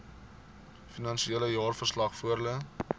finansiële jaarverslag voorlê